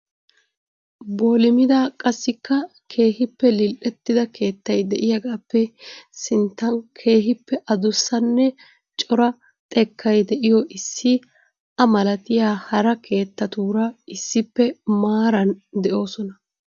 Boolimida qassika keehippe lil"ettida keettay de'iyaagappe sinttaa keehippe adussanne cora xekkay de'iyo issi a malatiyaa hara keettatuura issippe maaran de'oosona.